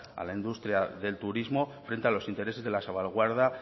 a la industria del turismo frente a los intereses de la salvaguarda